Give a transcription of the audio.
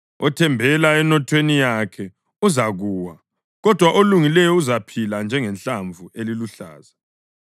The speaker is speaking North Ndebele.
Othembele enothweni yakhe uzakuwa; kodwa olungileyo uzaphila njengehlamvu eliluhlaza.